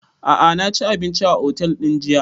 A'a na ci abinci a otel ɗin jiya